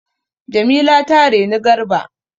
Jamila ta reni Garba.